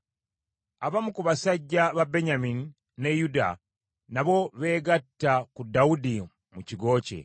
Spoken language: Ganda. Abamu ku basajja ba Benyamini ne Yuda nabo beegatta ku Dawudi mu kigo kye.